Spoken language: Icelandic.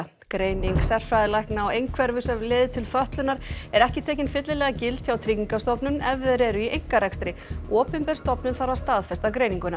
greining sérfræðilækna á einhverfu sem leiðir til fötlunar er ekki tekin fyllilega gild hjá Tryggingastofnun ef þeir eru í einkarekstri opinber stofnun þarf að staðfesta greininguna